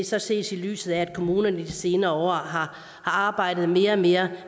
så ses i lyset af at kommunerne i de senere år har arbejdet mere og mere